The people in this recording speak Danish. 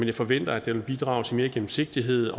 jeg forventer at den vil bidrage til mere gennemsigtighed